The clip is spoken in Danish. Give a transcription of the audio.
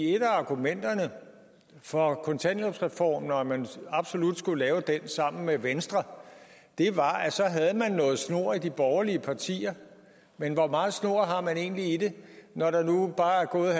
et af argumenterne for kontanthjælpsreformen og at man absolut skulle lave den sammen med venstre var at så havde man noget snor i de borgerlige partier men hvor meget snor har man egentlig i det når der nu bare er gået